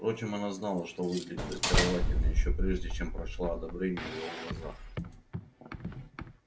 впрочем она знала что выглядит очаровательно ещё прежде чем прочла одобрение в его глазах